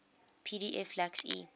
pdf lacks e